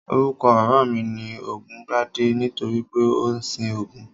Orúkọ bàbá mi ni Ògúngbadé nítorí pé ó ń sin Ògún